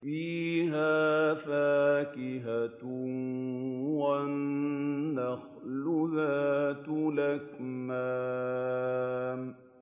فِيهَا فَاكِهَةٌ وَالنَّخْلُ ذَاتُ الْأَكْمَامِ